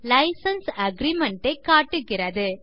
licence agreement ஐ காட்டுகிறது